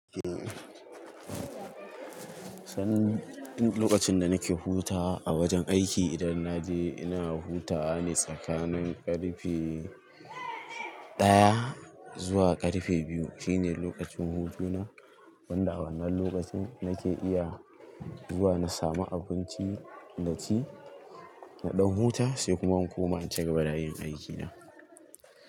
Eh, san lokacin da nake hutawa a wajen aiki idan na je ina hutawa ne tsakanin ƙarfe daya zuwa ƙarfe biyu. Shine lokacin hutuna wanda a wannan lokacin nake iya zuwa na samu abinci na ci, na ɗau hutawa sai kuma in koma ciga ba dakin aikina.